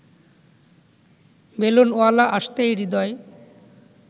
বেলুনওয়ালা আসতেই হৃদয়